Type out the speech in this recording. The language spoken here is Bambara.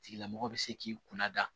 Tigilamɔgɔ bɛ se k'i kunna da